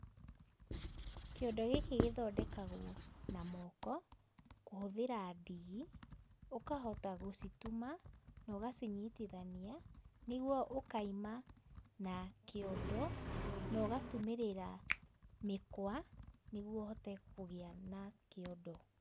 Kĩondo gĩkĩ gĩthondekagwo na moko, kũhũthĩra ndigi, ũkahota gũcituma na ũgacinyitithania ,nĩgũo ũkaima, na, kĩondo nogatumirira mĩkwa nĩgũo ũhote kũgĩa na kĩondo.